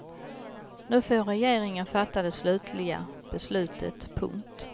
Nu får regeringen fatta det slutliga beslutet. punkt